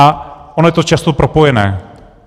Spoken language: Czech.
A ono je to často propojené.